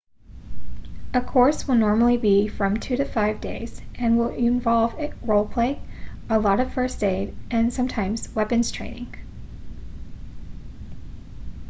a course will normally be from 2-5 days and will involve role play a lot of first aid and sometimes weapons training